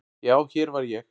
Já, hér var ég.